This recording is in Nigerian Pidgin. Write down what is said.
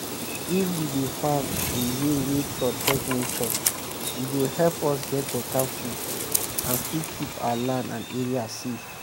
if we dey farm in way wey protect nature e go help us get better food and still keep our land and area safe.